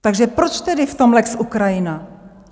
Takže proč tedy v tom lex Ukrajina?